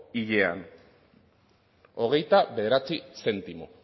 hilean hogeita bederatzi zentimo